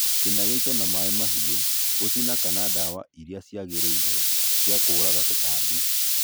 cĩna gĩĩto na maĩ mahĩũ, gũcĩna kana dawa ĩrĩa cĩagĩrĩĩre cĩa kũũraga tũtambĩ